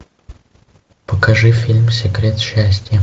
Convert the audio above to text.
покажи фильм секрет счастья